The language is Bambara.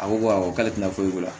A ko awɔ k'ale tɛ foyi k'u la